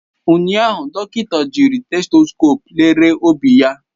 Ụnyaahụ, dọkịta jiri stethoscope lere obi ya.